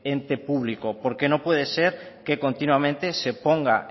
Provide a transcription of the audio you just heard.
ente público porque no puede ser que continuamente se ponga